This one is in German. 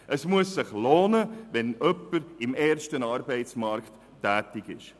Es muss sich lohnen, wenn jemand im ersten Arbeitsmarkt tätig ist.